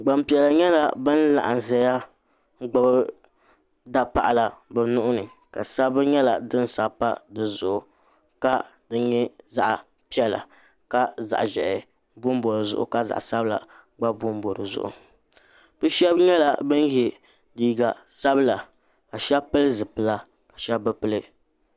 Gbanpiɛli nyɛla bin laɣam ʒɛya n gbubi tapaɣala bi nuhuni sabbu nyɛla din sabi pa dizuɣu ka di nyɛ zaɣ piɛla ka zaɣ ʒiɛhi bonbo dizuɣu ka zaɣ sabila gba bonbo dizuɣu bi shab nyɛla bin yɛ liiga sabila ka shab pili zipila ka shab bi pili